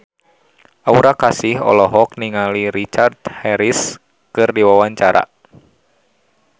Aura Kasih olohok ningali Richard Harris keur diwawancara